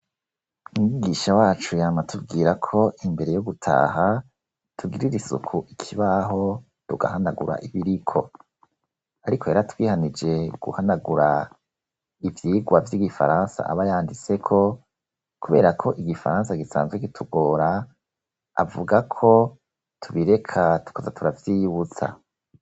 Umwigisha wacu yama atubwira ko imbere yo gutaha, tugirira isuku ikibaho tugahanagura ibiriko; ariko yaratwihanije guhanagura ivyigwa vy'Igifaransa aba yanditseko kubera ko Igifaransa gisanzwe kitugora, avuga ko tubireka tukaza turavyiyibutsa.